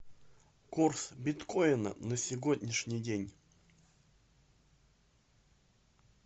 курс биткоина на сегодняшний день